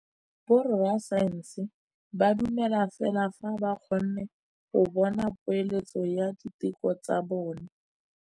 Borra saense ba dumela fela fa ba kgonne go bona poeletsô ya diteko tsa bone.